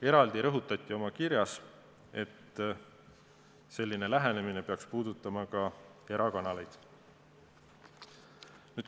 Eraldi rõhutati oma kirjas, et selline lähenemine peaks puudutama ka erakanaleid.